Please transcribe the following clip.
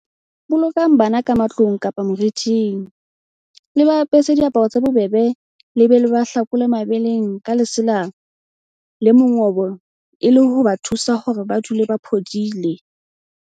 Bolokang bana ka matlung kapa moriting, le ba apese diaparo tse bobebe le be le ba hlakole mebeleng ka lesela le mongobo e le ho ba thusa hore ba dule ba phodile.